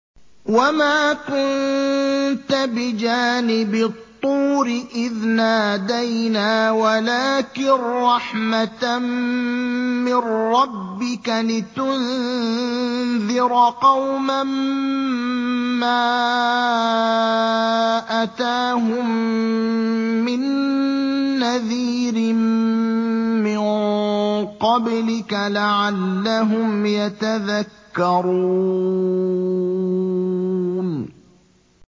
وَمَا كُنتَ بِجَانِبِ الطُّورِ إِذْ نَادَيْنَا وَلَٰكِن رَّحْمَةً مِّن رَّبِّكَ لِتُنذِرَ قَوْمًا مَّا أَتَاهُم مِّن نَّذِيرٍ مِّن قَبْلِكَ لَعَلَّهُمْ يَتَذَكَّرُونَ